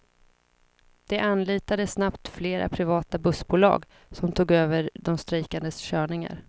De anlitade snabbt flera privata bussbolag, som tog över de strejkandes körningar.